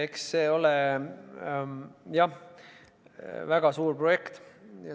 Eks see ole, jah, väga suur projekt.